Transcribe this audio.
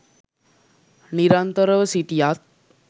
නිරන්තරව සිටියත්